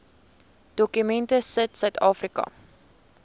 dokument sit suidafrika